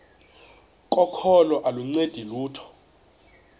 kokholo aluncedi lutho